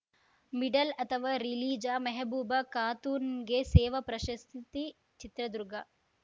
ಮಿಡಲ್‌ಅಥವಾ ರಿಲೀಜ ಮೆಹಬೂಬ ಖಾತೂನ್‌ಗೆ ಸೇವಾ ಪ್ರಶಸ್ತಿ ಚಿತ್ರದುರ್ಗ